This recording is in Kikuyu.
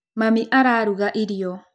Mami araruga irio.